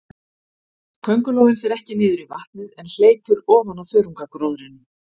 Köngulóin fer ekki niður í vatnið, en hleypur ofan á þörungagróðrinum.